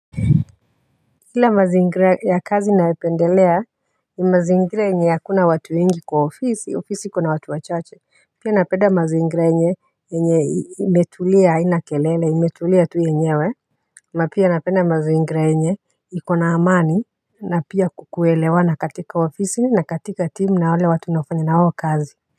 Ila mazingira ya kazi nayo pendelea ni mazingira yenye hakuna watu wengi kwa ofisi ofisi kuna watu wachache pia napenda mazingira yenye yenye imetulia haina kelele imetulia tu yenyewe na pia napenda mazingira yenye iko na amani na pia kukuelewana katika ofisi na katika timu na wale watu mnaofanya nao kazi.